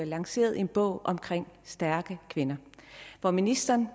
lanceret en bog om stærke kvinder og ministeren